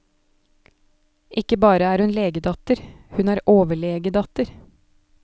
Ikke bare er hun legedatter, hun er overlegedatter.